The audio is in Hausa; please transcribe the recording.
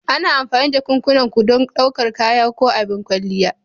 Ana amfani da jakunkuna ko don ɗaukar kaya ko abin kwalliya.